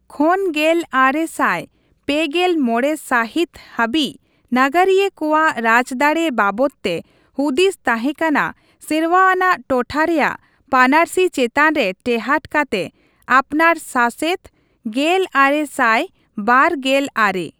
ᱠᱷᱚᱱ ᱜᱮᱞ ᱟᱨᱮ ᱥᱟᱭ ᱯᱮᱜᱮᱞ ᱢᱚᱲᱮ ᱥᱟᱹᱦᱤᱛ ᱦᱟᱹᱵᱤᱡ ᱱᱟᱜᱟᱨᱤᱭᱟᱹ ᱠᱚᱣᱟᱜ ᱨᱟᱡᱽᱫᱟᱲᱮ ᱵᱟᱵᱚᱛᱼᱛᱮ ᱦᱩᱫᱤᱥ ᱛᱟᱦᱮᱸ ᱠᱟᱱᱟ ᱥᱮᱨᱣᱟᱣᱟ ᱟᱱᱟᱜ ᱴᱚᱴᱷᱟ ᱨᱮᱭᱟᱜ ᱯᱟᱹᱱᱟᱨᱥᱤ ᱪᱮᱛᱟᱱ ᱨᱮ ᱴᱮᱦᱟᱴ ᱠᱟᱛᱮ 'ᱟᱯᱱᱟᱨᱼᱥᱟᱥᱮᱛ' ᱾ ᱜᱮᱞ ᱟᱨᱮ ᱥᱟᱭ ᱵᱟᱨ ᱜᱮᱞ ᱟᱨᱮ ᱾